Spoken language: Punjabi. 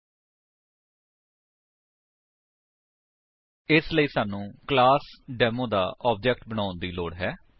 000928 000921 ਇਸਦੇ ਲਈ ਸਾਨੂੰ ਕਲਾਸ ਡੇਮੋ ਦਾ ਆਬਜੇਕਟ ਬਣਾਉਣ ਦੀ ਲੋੜ ਹੈ